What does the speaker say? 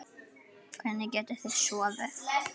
Hvernig getið þið sofið?